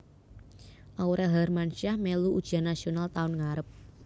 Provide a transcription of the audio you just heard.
Aurel Hermansyah melu ujian nasional taun ngarep